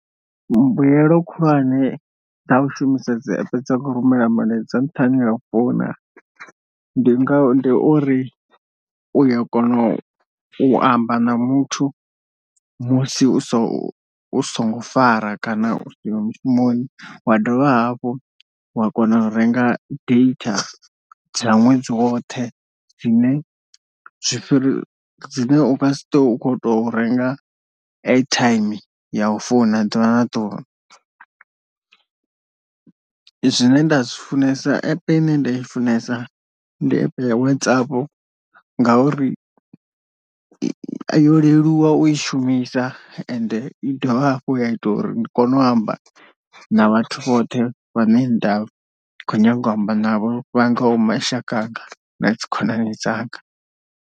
Mbuyelo khulwane dzau shumisa dzi app dza u rumela milaedza nṱhani ha u founa ndi nga ndi uri uya kona u amba na muthu musi u so u songo fara kana u siho mushumoni wa dovha hafhu wa kona u renga data dza ṅwedzi woṱhe zwine zwi fhiri zwine u ngasi to u khou to renga airtime ya u founa ḓuvha na ḓuvha. Zwine nda zwi funesa app ine nda i funesa ndi app ya WhatsApp ngauri yo leluwa u i shumisa ende i dovha hafhu ya ita uri ndi kone u amba na vhathu vhoṱhe vha ne nda khou nyanga u amba navho vha ngaho mashaka anga na dzi khonani dzanga.